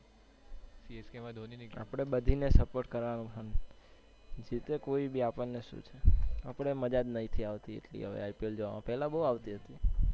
આપને બધી ને support કરાવ હમ જીતે કોઈ બી આપણને શું છે આપણે મજા જ નથી આવતી એટલી IPL જોવા માં પેલા બૌ આવતી હતી.